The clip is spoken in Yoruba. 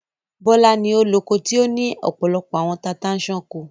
Bọ́lá ni ó loko tí ó ní ọ̀pọ̀lọpọ̀ àwọn tata-n-sánkọ.